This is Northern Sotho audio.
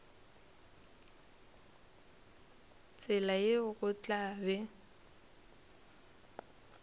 tsela yeo go tla be